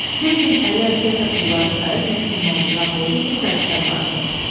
Fejin əli əsə-əsə pulları sayıb Nensin ovcuna qoydu ki, Sayksə aparsın.